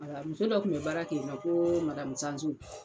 Muso dɔ tun bɛ baara kɛ yen ko madamu Sanson.